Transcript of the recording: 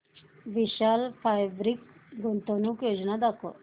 विशाल fabrics गुंतवणूक योजना दाखव